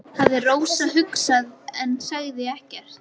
hafði Rósa hugsað en sagði ekkert.